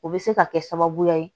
O bɛ se ka kɛ sababuya ye